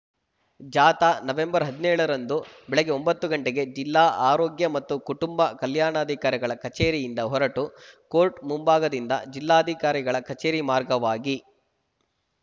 ಜಾಥಾ ನವೆಂಬರ್ ಹದಿನ್ಯೋಳರಂದು ಬೆಳ್ಳೆಗ್ಗೆ ಒಂಬತ್ತು ಗಂಟೆಗೆ ಜಿಲ್ಲಾ ಆರೋಗ್ಯ ಮತ್ತು ಕುಟುಂಬ ಕಲ್ಯಾಣಾಧಿಕಾರಿಗಳ ಕಚೇರಿಯಿಂದ ಹೊರಟು ಕೋರ್ಟ್‌ ಮುಂಭಾಗದಿಂದ ಜಿಲ್ಲಾಧಿಕಾರಿಗಳ ಕಚೇರಿ ಮಾರ್ಗವಾಗಿ